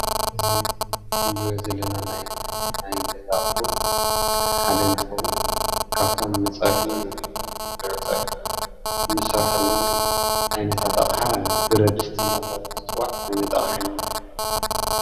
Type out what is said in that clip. እዚ እንርእዮ ዘለና ናይ ናይ ገዛ ኣቁሑ ሓደ እንትከውን ካብቶም ንፀበሒ እንሰርሐሎም ዓይነታት ኣቅሓ ብረድስቲ እንዳተባሃሉ ዝፅዋዕ ዓይነት ኣቅሓ ኢና ንሪኢ ዘለና።